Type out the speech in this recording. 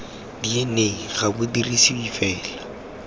dna ga bo dirisiwe fela